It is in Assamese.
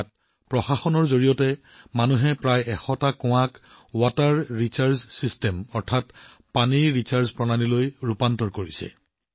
ইয়াত প্ৰশাসনৰ সহায়ত মানুহে প্ৰায় ১০০টা কুঁৱা পানী পুনৰ ভৰ্তিৰ ব্যৱস্থালৈ ৰূপান্তৰিত কৰিছে